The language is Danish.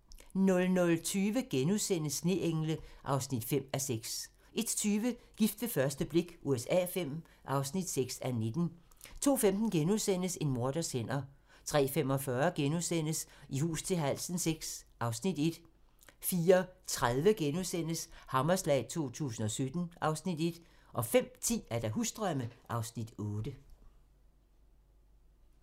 00:20: Sneengle (5:6)* 01:20: Gift ved første blik USA V (6:19) 02:15: En morders hænder * 03:45: I hus til halsen VI (Afs. 1)* 04:30: Hammerslag 2017 (Afs. 1)* 05:10: Husdrømme (Afs. 8)